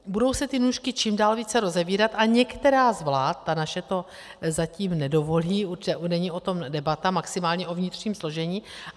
Budou se ty nůžky čím dál více rozevírat a některá z vlád - ta naše to zatím nedovolí, není o tom debata, maximálně o vnitřním složení.